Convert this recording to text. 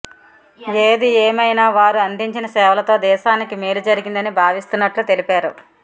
ఏది ఏమైనా వారు అందించిన సేవలతో దేశానికి మేలు జరిగిందని భావిస్తున్నట్లు తెలిపా రు